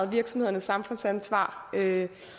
virksomhedernes samfundsansvar